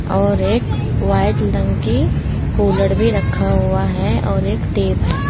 और एक व्हाइट रंग की कूलर भी रखा हुआ है और एक टेप है।